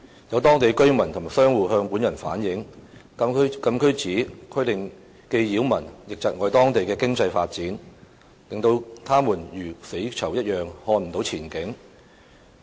有當地居民及商戶向本人反映，禁區紙規定既擾民亦窒礙當地的經濟發展，令他們如"死囚"一樣看不到前景。